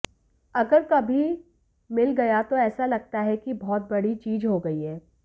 अगर कभी मिल गया तो ऐसा लगता है कि बहुत बड़ी चीज हो गई है